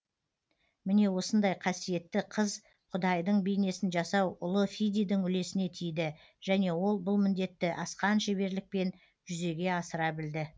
міне осындай қасиетті қыз құдайдың бейнесін жасау ұлы фидийдің үлесіне тиді және ол бұл міндетті асқан шеберлікпен жүзеге асыра білді